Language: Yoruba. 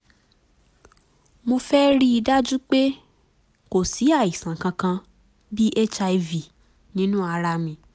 mo féé rí i dájú pé kò sí àìsàn kankan (bí hiv) nínú ara mi